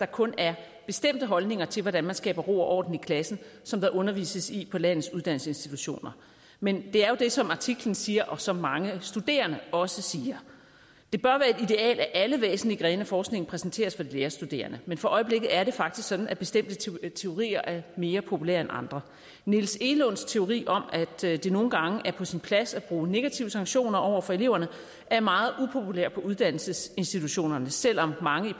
kun er bestemte holdninger til hvordan man skaber ro og orden i klassen som der undervises i på landets uddannelsesinstitutioner men det er jo det som artiklen siger og som mange studerende også siger det at alle væsentlige grene af forskningen præsenteres for de lærerstuderende men for øjeblikket er det faktisk sådan at bestemte teorier teorier er mere populære end andre niels egelunds teori om at det nogle gange er på sin plads at bruge negative sanktioner over for eleverne er meget upopulær på uddannelsesinstitutionerne selv om mange